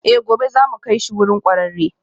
Eh, gobe za mu kai shi wurin kwararre